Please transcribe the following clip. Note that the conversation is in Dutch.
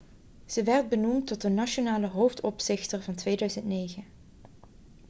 ze werd benoemd tot de nationale hoofdopzichter van 2009